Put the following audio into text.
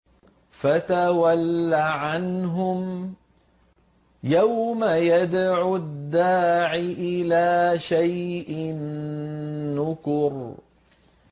فَتَوَلَّ عَنْهُمْ ۘ يَوْمَ يَدْعُ الدَّاعِ إِلَىٰ شَيْءٍ نُّكُرٍ